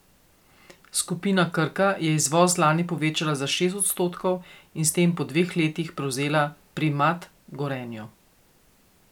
Skupina Krka je izvoz lani povečala za šest odstotkov in s tem po dveh letih prevzela primat Gorenju.